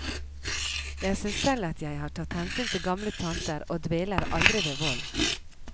Jeg synes selv at jeg har tatt hensyn til gamle tanter og dveler aldri ved vold.